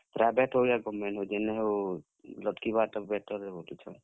Private ହଉ କି government ଯେନ ହଉ, ଲଟ୍ କିବାରଟା better ଆଏ ବଲୁଛନ୍।